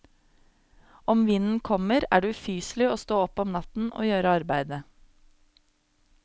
Om vinden kommer, er det ufyselig å stå opp om natten og gjøre arbeidet.